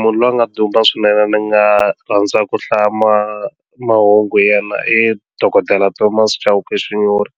munhu loyi a nga duma swinene ni nga rhandza ku hlaya mahungu na i dokodela Thomas Chauke Xinyori